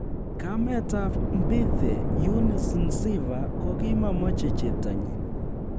Kametab Mbithe, EuniceNziva, kogimomoche cheptanyin